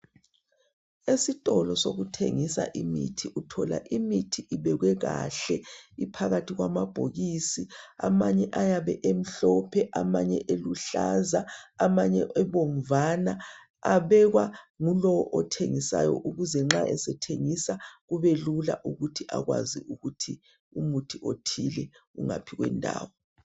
Esitolo sokuthengisa imithi, uthola imithi ibekwe kahle, iphakathi kwamabhokisi. Amanye ayabe emhlophe, amanye eluhlaza, amanye ebomvana. Abekwangulowo othengisayo ukuze nxa esethengisa kube lula ukuthi akwazi ukuthi umuthi othile ungaphi kwendawo.